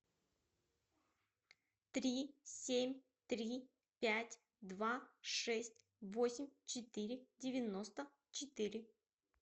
три семь три пять два шесть восемь четыре девяносто четыре